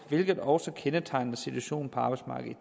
hvilket også kendetegner situationen på arbejdsmarkedet